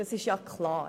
Das ist klar.